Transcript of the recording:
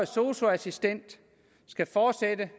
sosu assistent skal fortsætte